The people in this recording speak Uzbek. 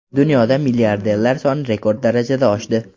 Dunyoda milliarderlar soni rekord darajada oshdi.